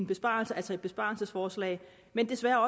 besparelse altså et besparelsesforslag men desværre er